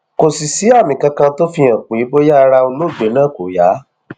kò sì sí àmì kankan tó fi hàn pé bóyá ara olóògbé náà kò yá